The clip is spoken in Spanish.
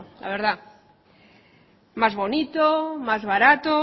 la verdad más bonito más barato